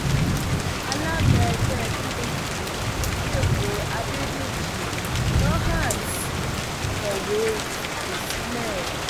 alága ẹgbẹ pdp lẹkọọ adédèjì dohertz kọwé fipò sílẹ